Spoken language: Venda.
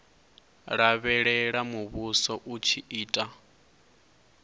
lavhelela muvhuso u tshi ita